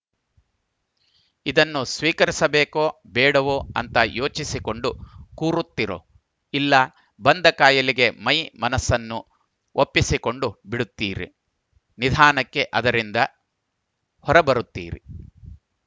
ಇದನ್ನು ಸ್ವೀಕರಿಸಬೇಕೋ ಬೇಡವೋ ಅಂತ ಯೋಚಿಸಿಕೊಂಡು ಕೂರುತ್ತಿರೊ ಇಲ್ಲ ಬಂದ ಖಾಯಿಲೆಗೆ ಮೈ ಮನಸ್ಸನ್ನು ಒಪ್ಪಿಸಿಕೊಂಡು ಬಿಡುತ್ತೀರಿ ನಿಧಾನಕ್ಕೆ ಅದರಿಂದ ಹೊರಬರುತ್ತೀರಿ